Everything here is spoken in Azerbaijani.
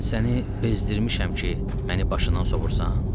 Mən səni bezdirmişəm ki, məni başından sovurursan?